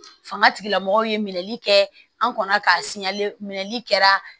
Fanga tigilamɔgɔw ye minɛli kɛ an kɔni k'a siyɛn minɛli kɛ